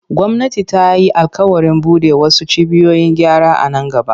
Gwamnati ta yi alƙawarin bude wasu cibiyoyin gyara a nan gaba.